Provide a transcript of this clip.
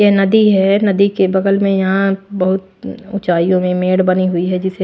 ये नदी है नदी के बगल में यहां बहोत हम्म ऊंचाइयों में मेड़ बनी हुई है जिसे --